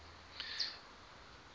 indien u ouer